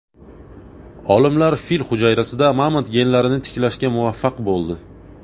Olimlar fil hujayrasida mamont genlarini tiklashga muvaffaq bo‘ldi.